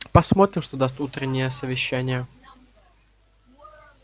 посмотрим что даст утреннее совещание